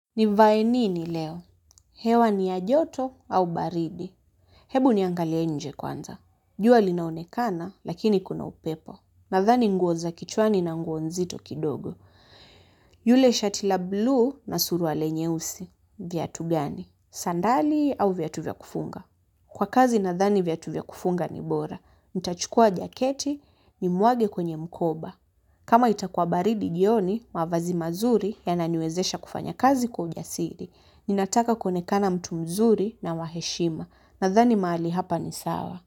Ni vae nini leo? Hewa ni ya joto au baridi? Hebu niangalia nje kwanza. Jua linaonekana, lakini kuna upepo. Nadhani nguo za kichwani na nguo nzito kidogo. Yule shati la buluu na suruali nyeusi. Kiatu gani? Sandali au viatu vya kufunga? Kwa kazi nadhani viatu vya kufunga ni bora. Nitachukua jaketi ni mwage kwenye mkoba. Kama itakuwa baridi jioni, mavazi mazuri yananiwezesha kufanya kazi kwa ujasiri, ninataka kuonekana mtu mzuri na waheshima nadhani mahali hapa ni sawa.